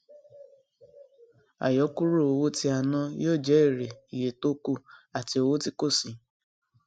àyọkúrò owó tí a ná yó jẹ èrè iye tókù àti owó tí kò sí